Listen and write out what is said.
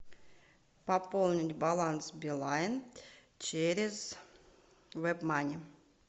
пополнить баланс билайн через вебмани